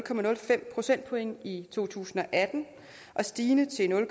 procentpoint i to tusind og atten stigende til nul